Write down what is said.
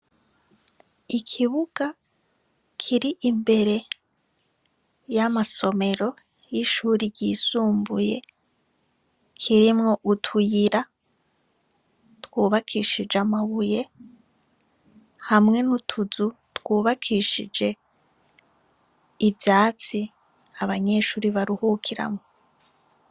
Ikibuga c'amashure kitagiramwo ivyatsi umashure yugaye inzugizano n'amadirisha animashure yubatso agerekeranije si amadirisha menshi bubagishije amabati ikirere co hejuru cari ceraderere.